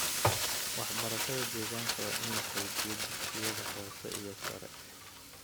Waxbarashada deegaanka waa in la xoojiyo dugsiyada hoose iyo sare.